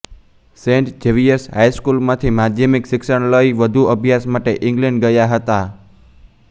Saint Xavier's હાઇસ્કૂલમાંથી માદ્યમિક શિક્ષણ લઈ વધુ અભ્યાસ માટે ઈગ્લેન્ડ ગયા હતા